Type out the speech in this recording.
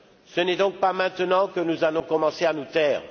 Ce n'est donc pas maintenant que nous allons commencer à nous taire.